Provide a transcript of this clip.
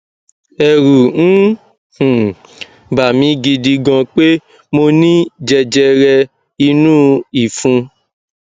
ẹrù ń um bà mi gidi gan pé mo ní jẹjẹrẹ inú ìfun